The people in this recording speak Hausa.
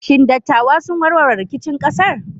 Shin dattawa sun warware rikicin ƙasar?